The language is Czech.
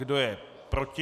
Kdo je proti?